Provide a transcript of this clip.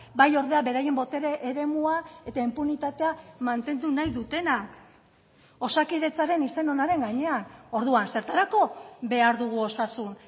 bai ordea beraien botere eremua eta inpunitatea mantendu nahi dutena osakidetzaren izen onaren gainean orduan zertarako behar dugu osasun